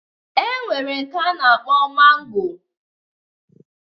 E nwere nke a na-akpọ mangoro